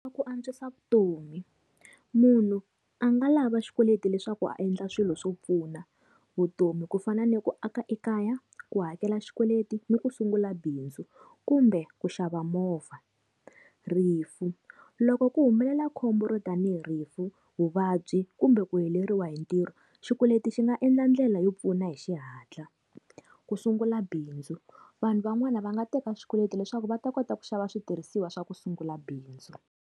Ku antswisa vutomi, munhu a nga lava xikweleti leswaku a endla swilo swo pfuna. Vutomi ku fana ni ku aka ekaya, ku hakela xikweleti ni ku sungula bindzu kumbe ku xava movha. Rifu, loko ku humelela khombo ro tanihi rifu, vuvabyi kumbe ku heleriwe hi ntirho xikweleti xi nga endla ndlela yo pfuna hi xihatla ku sungula bindzu vanhu van'wani va nga teka xikweleti leswaku va ta kota ku xava switirhisiwa swa ku sungula bindzu.